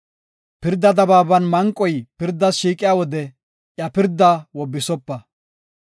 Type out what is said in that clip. “Pirda dabaaban manqoy pirdas shiiqiya wode iya pirdaa wobbisopa.